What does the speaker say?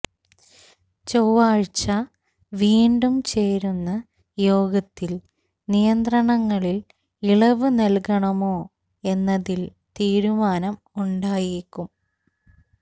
ചൊവ്വാഴ്ച വീണ്ടും ചേരുന്ന യോഗത്തിൽ നിയന്ത്രണങ്ങളിൽ ഇളവ് നൽകണമോ എന്നതിൽ തീരുമാനം ഉണ്ടായേക്കും